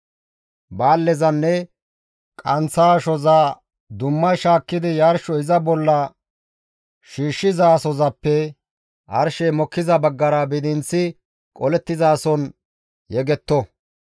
Baallezanne qanththa ashoza dumma shaakkidi yarsho iza bolla shiishshizasozappe arshey mokkiza baggara bidinththi qolettizason yegetto.